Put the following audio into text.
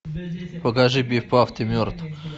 покажи пиф паф ты мертв